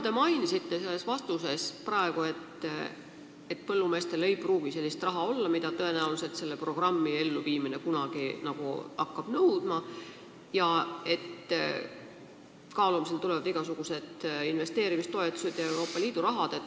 Te märkisite oma vastuses, et põllumeestel ei pruugi olla raha, mida selle programmi elluviimine neilt kunagi nõudma hakkab, ja et kaalumisele tulevad igasugused investeerimistoetused ja muud Euroopa Liidu rahad.